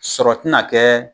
Sɔrɔ tina kɛɛ